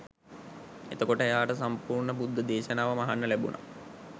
එතකොට එයාට සම්පූර්ණ බුද්ධ දේශනාවම අහන්න ලැබුණා